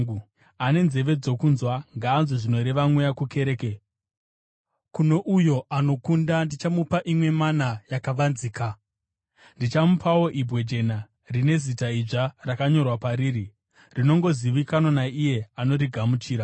Ane nzeve dzokunzwa, ngaanzwe zvinoreva Mweya kukereke. Kuno uyo anokunda, ndichamupa imwe mana yakavanzika. Ndichamupawo ibwe jena rine zita idzva rakanyorwa pariri, rinongozivikanwa naiye anorigamuchira.